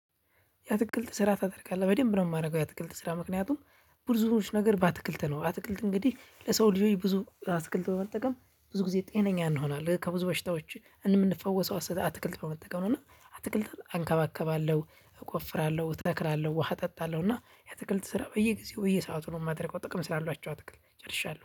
የአትክልት ስራ ታደርጋለህ በደንብ ነው የማደርገው። የአትክልት ስራ ምክንያቱም። ብዝዎች ነገር በአትክልት ነው አትክልት እንግዲህ ለሰው ልጆች ብዙ አትክልት በመጠቀም ብዙ ጊዜ ጤነኛ እንሆናለን። ከብዙ በሽታዎች እምንፈወሰው አትክልት ነው በመጠቀም ነው። እና አትክልት አንከባከባለሁ እቆፍራለሁ እተክላለሁ ውሃ እጠጣለሁ እና የትክልት ስራ በየጊዜው በየሰአቱ ነው የማደርገው። ጥቅም ስላሏቸው አትክል ጨርሻለሁ